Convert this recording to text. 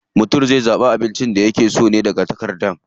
Mutum zai zaɓi abincin da yake so me daga takarda.